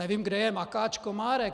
Nevím, kde je makáč Komárek.